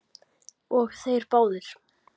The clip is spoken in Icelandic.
Og þeir báðir.